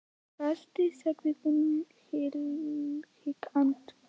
Æ, ertu með gesti, segir hún hikandi.